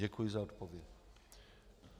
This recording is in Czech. Děkuji za odpověď.